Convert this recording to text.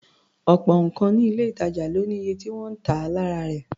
Ọ̀pọ̀ nǹkan ní ilé-ìtàjà ló ní iye tí wọ́n ń tà wọ́n lára rẹ̀.